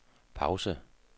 pause